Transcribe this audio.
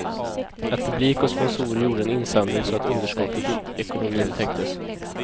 Att publik och sponsorer gjorde en insamling så att underskottet i ekonomin täcktes.